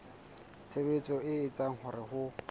tshebetso e etsang hore ho